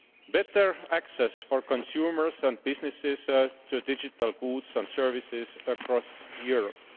better access for consumers and businesses to digital goods and services across Europe